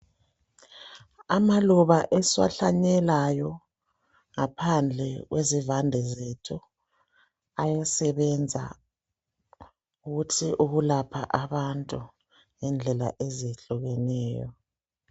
Amaluba esiwahlanyelayo ngaphandle kwezivande zethu ayasebenza ukulapha abantu ngendlela ezehlukeneyo.